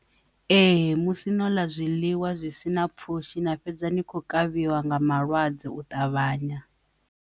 Ee, musi no ḽa zwiḽiwa zwisina pfushi na fhedza ni kho kavhiwa nga malwadze u ṱavhanya.